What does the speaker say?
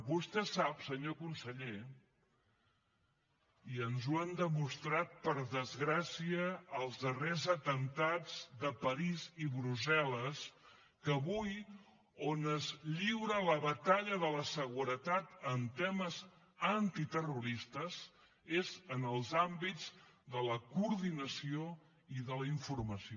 vostè sap senyor conseller i ens ho han demostrat per desgràcia els darrers atemptats de parís i brussel·les que avui on es lliura la batalla de la seguretat en temes antiterroristes és en els àmbits de la coordinació i de la informació